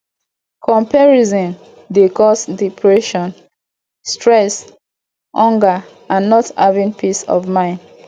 comparison dey cause depression stress anger and not having peace of mind